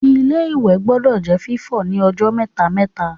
Ilé-ìwẹ̀ gbọdọ̀ jẹ́ fífọ̀ ní ọjọ́ mẹ́ta-mẹ́ta